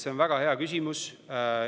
See on väga hea küsimus.